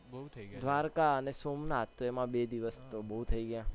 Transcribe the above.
બહુ થઇ ગયું દ્વારકા અને સોમનાથ તો એમ બે દિવસ તો બો થઇ ગયા